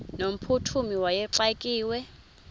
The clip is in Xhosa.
no mphuthumi wayexakiwe